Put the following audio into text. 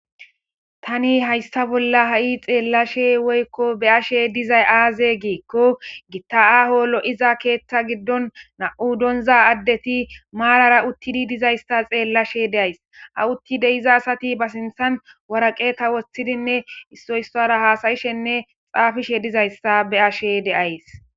Tani hayssa bolla ha'i xeellashe woykko be ashe dizay aaze giikko gitta'aho lo'iza keeththa giddon na'u donza addeti maarara uttidi dizaysta xeellashe deays aw utti deiza asati ba sinthan waraqeka woththidinne issoyissara haasayishenne xaafishe dizayssa be ashe deays.